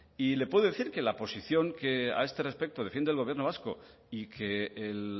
y le puedo decir que la posición que a este respecto defiende el gobierno vasco y que el